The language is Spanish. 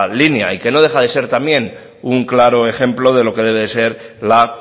línea y que no deja de ser también un claro ejemplo de lo que debe ser la